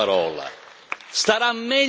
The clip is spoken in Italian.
Pronunci questa parola.